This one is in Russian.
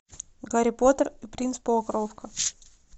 гарри поттер и принц полукровка